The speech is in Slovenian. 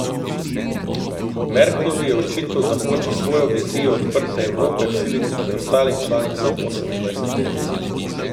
Merklovi je očital, da hoče svojo vizijo odprte Evrope vsiliti preostalim članicam osemindvajseterice.